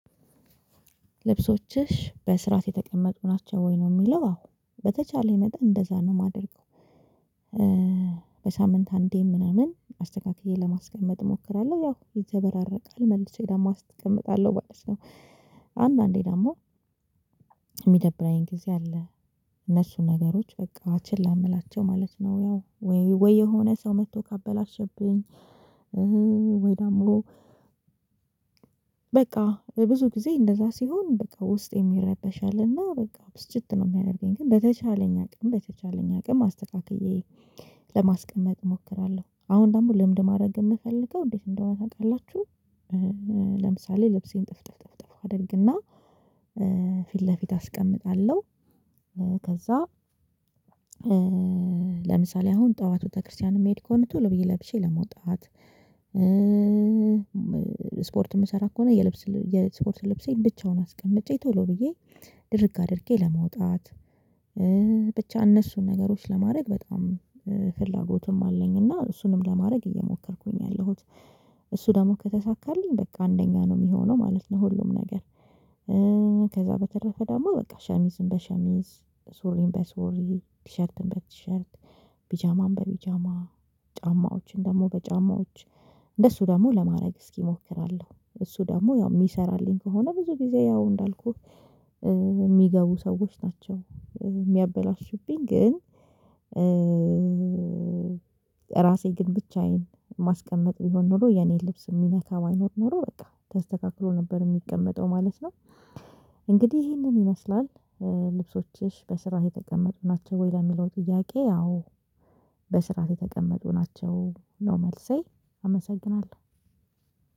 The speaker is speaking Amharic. ልብሶችሽ በስራት የተቀመጡ ናቸው ወይ ነው የሚለው? አዎ በተቻለኝ መጠን እንደዛ ነው የማደርገው። በሳምንት አንዴ ምናምን አስተካክዬን ለማስቀመጥ እሞክራለሁ ያው ይዘበራረቃል መልሼ ደግሞ አስቀምጣለሁ ባልሽነው። አንዳንዴ ደግሞ የሚደብራዬን ጊዜ አለ እነሱን ነገሮች በቃ አችን ላምላቸው ማለት ነው። ያው ወይ ወይ የሆነ ሰው መጥቶ ካበላሸብኝ። ወይ ዳምሮ በቃ ብዙ ጊዜ እንደዛ ሲሆን በቃ ውስጥ የሚረበሻልና በቃ ብስጭት ነው የሚያደርገኝ። ግን በተቻለኝ አቅም በተቻለኝ አቅም አስተካክዬ ለማስቀመጥ እሞክራለሁ። አሁን ደግሞ ልምድ ማድረግ የምፈልገው እንዴት እንደሆነ ታውቃላችሁ። ለምሳሌ ልብሴን ጥፍጥፍ አደርግና ፊት ለፊት አስቀምጣለሁ። ከዛ ለምሳሌ አሁን ጠዋት ቤተክርስቲያን የሚሄድ ከሆነ ቶሎ ብዬ ለብሼ ለመውጣት። ስፖርት የምሰራ ከሆነ የልብስ የስፖርት ልብሴን ብቻውን አስቀምጬ ቶሎ ብዬ ድርግ አድርጌ ለመውጣት። ብቻ እነሱን ነገሮች ለማድረግ በጣም ፍላጎቱም አለኝ። እና እሱንም ለማድረግ እየሞከርኩኝ ያለሁት እሱ ደግሞ ከተሳካልኝ በቃ አንደኛ ነው የሚሆነው ማለት ነው። ሁሉም ነገር። ከዛ በተረፈ ደግሞ በቃ ሸሚዝም በሸሚዝ ሱሪም በሱሪ ቲሸርትም በቲሸርት ፒጃማም በፒጃማ ጫማዎችን ደግሞ በጫማዎች እንደሱ ደግሞ ለማድረግ እስኪሞክራለሁ። እሱ ደግሞ ያው የሚሰራልኝ ከሆነ ብዙ ጊዜ ያው እንዳልኩህ የሚገቡ ሰዎች ናቸው የሚያበላሹብኝ ግን። ራሴ ግን ብቻዬን ማስቀመጥ ቢሆን ኖሮ የኔ ልብስ የሚነካ አይኖር ኖሮ በቃ ተስተካክሎ ነበር የሚቀመጠው ማለት ነው። እንግዲህ ይሄንን ይመስላል። ልብሶችሽ በስራት የተቀመጡ ናቸው ወይ ለሚለው ጥያቄ? ያው በስራት የተቀመጡ ናቸው ነው መልሴ። አመሰግናለሁ።